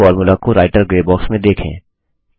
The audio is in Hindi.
इस फोर्मुला को रायटर ग्रे बॉक्स में देखें